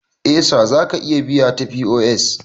Eh Sir zaka iya biya ta POS